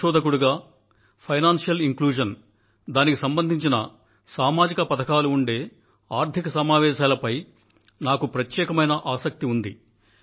నాకు financial inclusion దానికి సంబంధించిన సామాజిక పథకాలు ఉండే ఆర్థిక సమావేశాలపై ప్రత్యేకమైన ఆసక్తి ఉంది